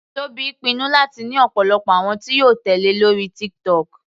Tobi pinnu láti ní ọ̀pọ̀lọpọ̀ àwọn tí yóò tèlé lórí TikTok.